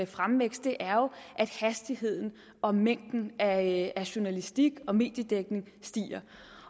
fremvækst er jo at hastigheden og mængden af journalistik og mediedækning stiger